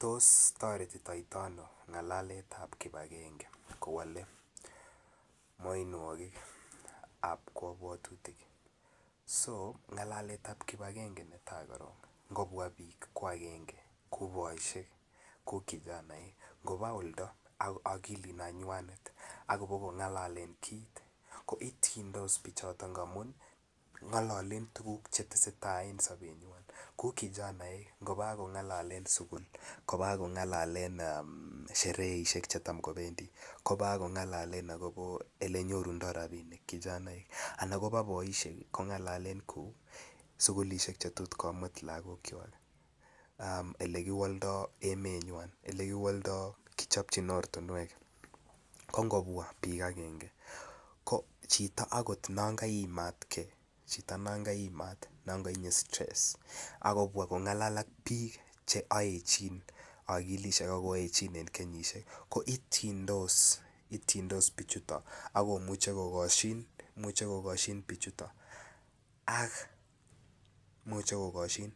Tos toretito ano ngalaletab kibagenge mianwogik ab kabwatutik ngalaletab ab kibagenge ko netai ngobwa bik ango boisiek anan ango kijanaek ngoba oldo ak akilinywa ak koba kongalelen kit ko ityendos bichoto amun ngalalen tuguk Che tesetai en sobenywa kou kijanaek angoba ak kongalelen sukul koba ak kongalelen shereisiek Che Tam kobendi koba ak kongalelen Ole nyorundoi rabisiek kijanaek anan koba boisiek ak kongalelen sukulisiek Che tot komut lagokwak Ole kiwoldoi emenywa Ole kiwoldoi Ole kichopchin ortinwek ko ngobwa bik agenge ko chito okot non kaimat ge non kotinye stress ak kobwa kongalal ak bik Che oechin akilisiek ak koachin en kenyisiek ko ityindos ak Imuch ko kosyin